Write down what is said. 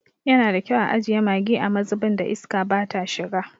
Yana da kyau a ajiye maggi a mazubin da iska bata shiga.